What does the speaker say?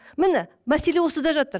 міне мәселе осыда жатыр